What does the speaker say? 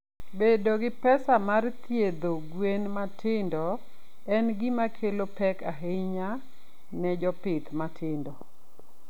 Bedo gi pesa mar thiedho gwen matindo en gima kelo pek ahinya ne jopith matindo.